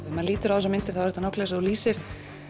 maður lítur á þessar myndir þá er þetta nákvæmlega þú lýsir